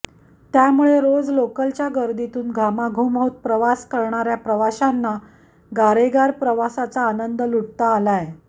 त्यामुळे रोज लोकलच्या गर्दीतून घामाघूम होत प्रवास करणाऱ्या प्रवाशांना गारेगार प्रवासाचा आनंद लुटता आलाय